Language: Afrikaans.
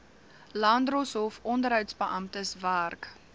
landdroshof onderhoudsbeamptes werk